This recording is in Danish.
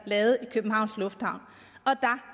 lavet i københavns lufthavn